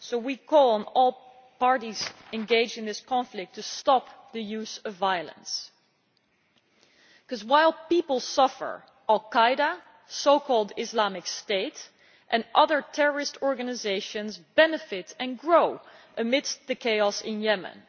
We therefore call on all parties engaged in this conflict to stop the use of violence, because while people suffer, al Qaeda, so called Islamic State, and other terrorist organisations benefit and grow amidst the chaos in Yemen.